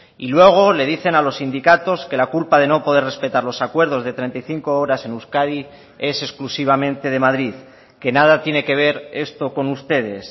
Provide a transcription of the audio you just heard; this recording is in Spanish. y luego le dicen a los sindicatos que la culpa de no poder respetar los acuerdos de treinta y cinco horas en euskadi es exclusivamente de madrid que nada tiene que ver esto con ustedes